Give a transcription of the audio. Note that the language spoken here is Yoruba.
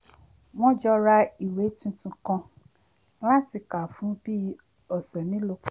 wọ́n jọ ra ìwé tuntun kan láti kà fún bí òsẹ̀ melòó kan